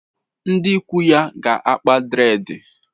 Ndi ikwu ya ga-akpa dreedi.